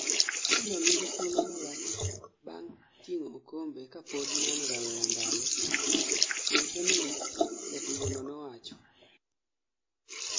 "Arsenal nigi thuolo malach bang ting'o okombe kapod nan rawera ndalo Thiery Henry",Jatugono nowacho.